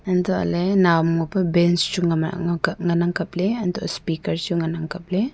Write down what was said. untohley nawham ngopa bench chu ngan ang kapley untoh speaker chu ngan ang kapley.